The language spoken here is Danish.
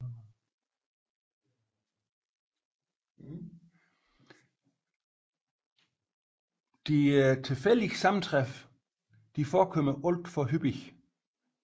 De tilfældige sammentræf forekommer alt for hyppigt